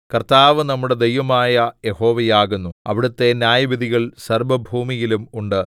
കർത്താവ് നമ്മുടെ ദൈവമായ യഹോവയാകുന്നു അവിടുത്തെ ന്യായവിധികൾ സർവ്വഭൂമിയിലും ഉണ്ട്